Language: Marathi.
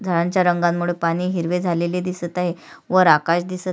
झाडांच्या रंगामध्ये पाणी हिरवे झालेले दिसत आहे वर आकाश दिसत--